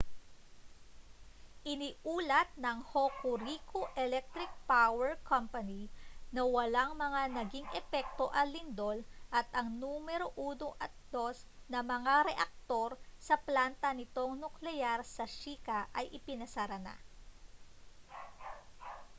iniulat ng hokuriku electric power co na walang mga naging epekto ang lindol at ang numero 1 at 2 na mga reaktor sa planta nitong nukleyar sa shika ay ipinasara na